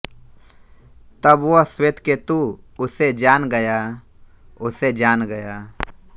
तब वह श्वेतकेतु उसे जान गया उसे जान गया